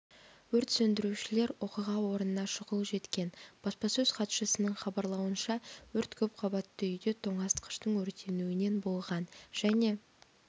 өрт сөндірушілер оқиға орнына шұғыл жеткен баспасөз хатшысының хабарлауынша өрт көпқабатты үйде тоңазытқыштың өртенуінен болған және